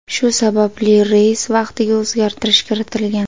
Shu sababli reys vaqtiga o‘zgartirish kiritilgan.